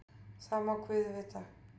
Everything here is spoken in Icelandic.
Það má guð vita.